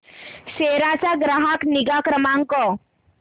सेरा चा ग्राहक निगा क्रमांक